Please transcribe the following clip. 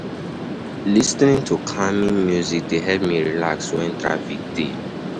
Lis ten ing to calming music dey help me relax wen traffic dey.